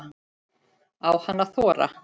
Á hann að þora?